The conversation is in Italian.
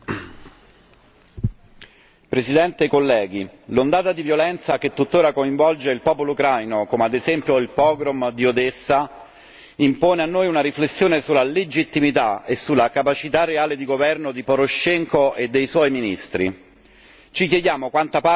Signor Presidente, onorevoli colleghi, l'ondata di violenza che tuttora coinvolge il popolo ucraino, come ad esempio il pogrom di Odessa, impone a noi una riflessione sulla legittimità e sulla capacità reale di governo di Poroshenko e dei suoi ministri.